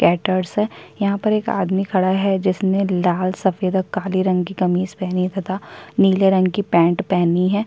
Caterers है यहाँ पर एक आदमी खड़ा है जिसने लाल सफेद और काले रंग की कमीज पहनी तथा नीले रंग की पैंट पहनी है।